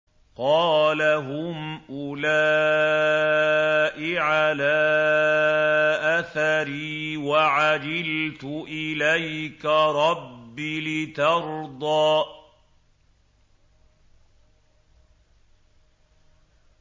قَالَ هُمْ أُولَاءِ عَلَىٰ أَثَرِي وَعَجِلْتُ إِلَيْكَ رَبِّ لِتَرْضَىٰ